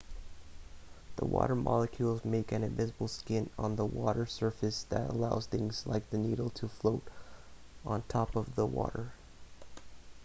the water molecules make an invisible skin on the water's surface that allows things like the needle to float on top of the water